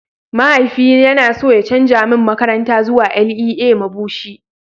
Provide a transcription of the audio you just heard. mahaifi yana so ya canza min makaranta zuwa LEA Mabushi